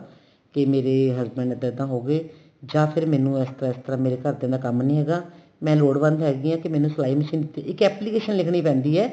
ਕੀ ਮੇਰੇ husband ਇੱਦਾਂ ਇੱਦਾਂ ਹੋਗੇ ਜਾ ਫੇਰ ਮੈਨੂੰ ਇਸ ਤਰ੍ਹਾਂ ਇਸ ਤਰ੍ਹਾਂ ਮੇਰੇ ਘਰਦਿਆ ਦਾ ਕੰਮ ਨੀ ਹੈਗਾ ਮੈਂ ਲੋੜਵੰਦ ਹੈਗੀ ਆ ਤੇ ਮੈਨੂੰ ਸਲਾਈ machine ਇੱਕ application ਲਿਖਣੀ ਪੈਂਦੀ ਏ